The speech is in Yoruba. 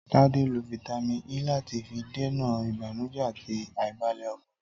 Tade lo fítámìn E lati fi dènà ìbànújẹ ati aibalẹ ọkàn.